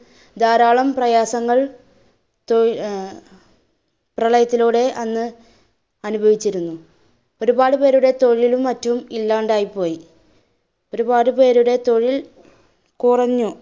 ധാരാളം പ്രയാസങ്ങൾ തൊഴില്‍~ അഹ് പ്രളയത്തിലൂടെ അന്ന് അനുഭവിച്ചിരുന്നു. ഒരുപാട് പേരുടെ തൊഴിലും മറ്റും ഇല്ലാണ്ടായിപോയി. ഒരുപാട് പേരുടെ തൊഴിൽ കുറഞ്ഞു.